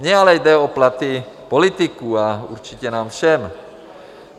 Mně ale jde o platy politiků, a určitě nám všem.